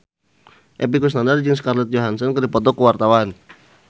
Epy Kusnandar jeung Scarlett Johansson keur dipoto ku wartawan